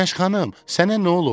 Günəş xanım, sənə nə olub?